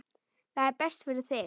Það er best fyrir þig.